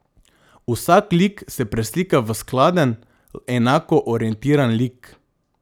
Vsak lik se preslika v skladen, enako orientiran lik.